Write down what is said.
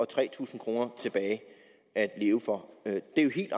tre tusind kroner tilbage at leve for det er jo helt